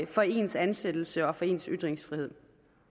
for ens ansættelse og for ens ytringsfrihed